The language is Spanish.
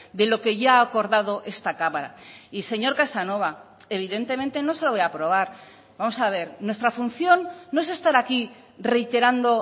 de lo que ya ha acordado esta cámara y señor casanova evidentemente no se lo voy a aprobar vamos a ver nuestra función no es estar aquí reiterando